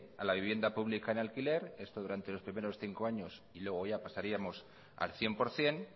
a la vivienda pública en alquiler esto durante los primeros cinco años y luego ya pasaríamos al cien por ciento